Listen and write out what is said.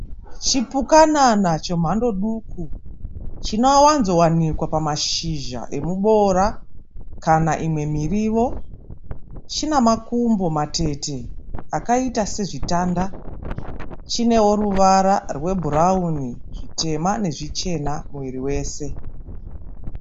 Chipukanana chemando duku chinowanzowanikwa pamashizha emuboora kana imwe mirivo. Chinamakumbo matete akaita sezvitanda. Chinewo ruvara rwebhurauni, zvitema nezvichena muviri wese.